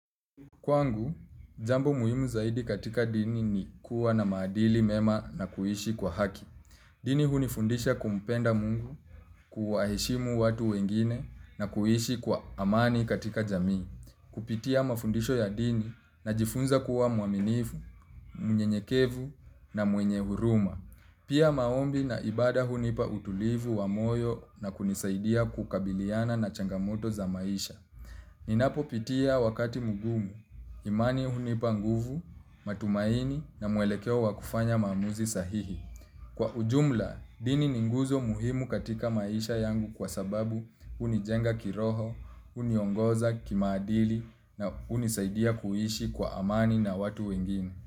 Kwangu, jambo muhimu zaidi katika dini ni kuwa na maadili mema na kuishi kwa haki. Dini hunifundisha kumpenda mungu, kuwaheshimu watu wengine na kuhishi kwa amani katika jamii. Kupitia mafundisho ya dini najifunza kuwa muaminifu, mnyenyekevu na mwenye huruma. Pia maombi na ibada hunipa utulivu wa moyo na kunisaidia kukabiliana na changamoto za maisha. Ninapopitia wakati mgumu, imani hunipa nguvu, matumaini na muelekeo wa kufanya maamuzi sahihi. Kwa ujumla, dini ni nguzo muhimu katika maisha yangu kwa sababu hunijenga kiroho, huniongoza kimaadili na hunisaidia kuishi kwa amani na watu wengine.